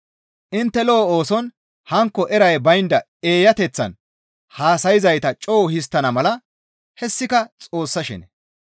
Intte lo7o ooson hankko eray baynda eeyateththan haasayzayta co7u histtana mala hessika Xoossa shene.